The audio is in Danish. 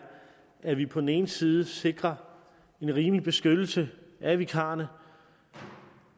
at vi på den ene side sikrer en rimelig beskyttelse af vikarerne og